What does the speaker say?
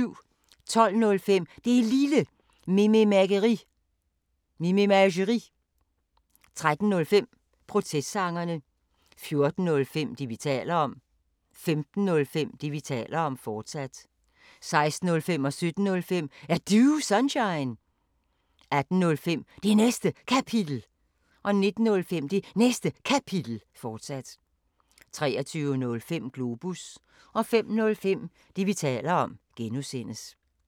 12:05: Det Lille Mememageri 13:05: Protestsangerne 14:05: Det, vi taler om 15:05: Det, vi taler om, fortsat 16:05: Er Du Sunshine? 17:05: Er Du Sunshine? 18:05: Det Næste Kapitel 19:05: Det Næste Kapitel, fortsat 23:05: Globus 05:05: Det, vi taler om (G)